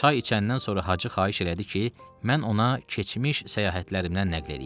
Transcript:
Çay içəndən sonra Hacı xahiş elədi ki, mən ona keçmiş səyahətlərimdən nəql eləyim.